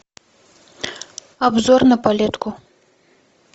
обзор на палетку